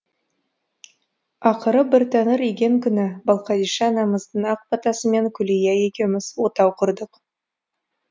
ақыры бір тәңір иген күні балқадиша анамыздың ақ батасымен күлия екеуміз отау құрдық